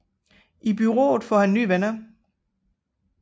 I bureauet får han nye venner